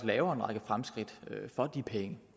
laver en række fremskridt for de penge